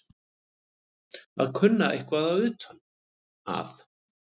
Að kunna eitthvað utan að